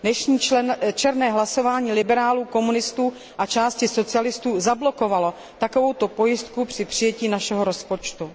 Dnešní černé hlasování liberálů, komunistů a části socialistů zablokovalo takovouto pojistku při přijetí našeho rozpočtu.